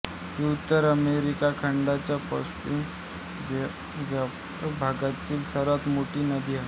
ही उत्तर अमेरिका खंडाच्या पॅसिफिक वायव्य भागातील सर्वात मोठी नदी आहे